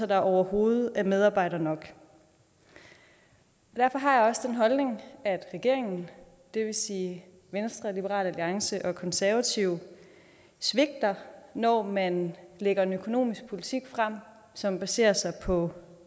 der overhovedet er medarbejdere nok derfor har jeg også den holdning at regeringen det vil sige venstre liberal alliance og konservative svigter når man lægger en økonomisk politik frem som baserer sig på